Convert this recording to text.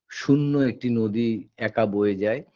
শূন্য একটি নদী একা বয়ে যায়